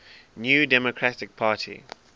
new democratic party